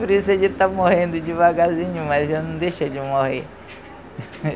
Por isso ele está morrendo devagarzinho demais, eu não deixo ele morrer.